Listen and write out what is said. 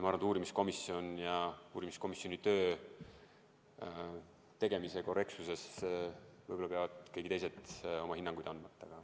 Ma arvan, et uurimiskomisjoni töö tegemise korrektsuse kohta peavad teised inimesed hinnanguid andma.